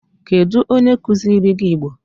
Kedu onye kuziri gi Igbo?